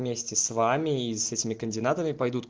вместе с вами и с этими координатами пойдут